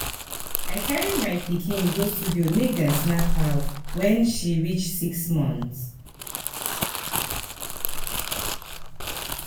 I carry my pikin go studio make dem snap her wen her wen she reach six month.